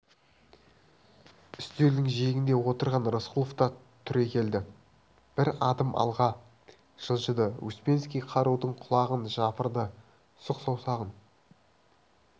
үстелдің жиегінде отырған рысқұлов та түрегелді бір адым алға жылжыды успенский қарудың құлағын жапырды сұқ саусағын